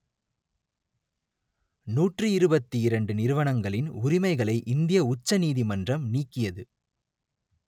நூற்றி இருபத்தி இரண்டு நிறுவனங்களின் உரிமைகளை இந்திய உச்ச நீதிமன்றம் நீக்கியது